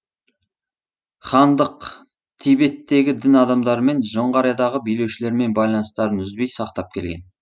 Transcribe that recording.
хандық тибеттегі дін адамдарымен жоңғариядағы билеушілермен байланыстарын үзбей сақтап келген